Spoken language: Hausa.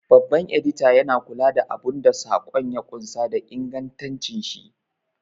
Babban Edita yana kula da abun da saƙon ya ƙunsa da ingantashi.